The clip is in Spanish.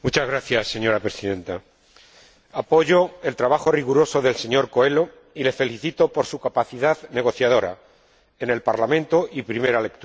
Señora Presidenta, apoyo el trabajo riguroso del señor Coelho y le felicito por su capacidad negociadora, en el Parlamento y en primera lectura.